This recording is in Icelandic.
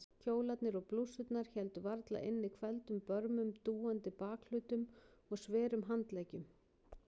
Kjólarnir og blússurnar héldu varla inni hvelfdum börmum, dúandi bakhlutum og sverum handleggjum.